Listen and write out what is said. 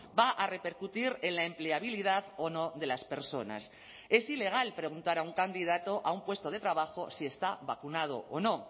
va a repercutir en la empleabilidad o no de las personas es ilegal preguntar a un candidato a un puesto de trabajo si está vacunado o no